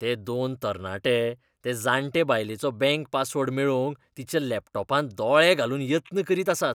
ते दोन तरणाटे ते जांटे बायलेचो बँक पासवर्ड मेळोवंक तिच्या लॅपटॉपांत दोळे घालून यत्न करीत आसात.